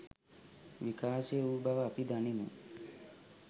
විකාශය වූ බව අපි දනිමු.